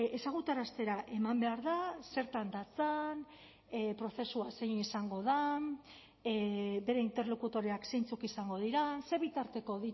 ezagutaraztera eman behar da zertan datzan prozesua zein izango den bere interlokutoreak zeintzuk izango diren ze bitarteko